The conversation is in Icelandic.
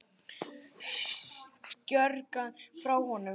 Skjögrar frá honum.